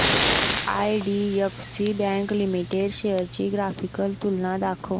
IDFC bank limited shares ची graphical तुलना दाखव